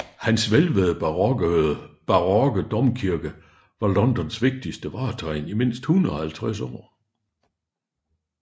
Hans hvælvede barokke domkirke var Londons vigtigste vartegn i mindst 150 år